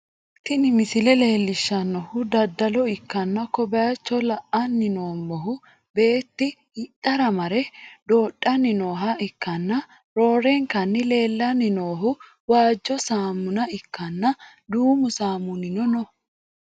tini misile leellishshannohu daddalo ikkanna, ko bayicho la'anni noommohu beetti hidhara mare doodhanni nooha ikkanna, roorenkanni leellanni noohu waajjo saamuna ikkanna, duumu saamunino no.